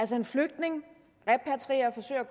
til en flygtning